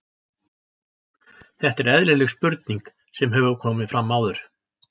Þetta er eðlileg spurning sem hefur komið fram áður.